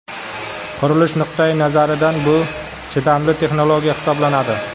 Qurilish nuqtai nazaridan bu chidamli texnologiya hisoblanadi.